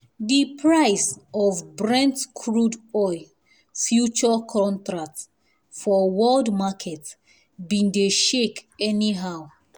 the price of brent crude oil future contract for world market been dey shake anyhow